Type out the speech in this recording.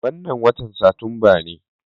Wannan watan Satumba ne.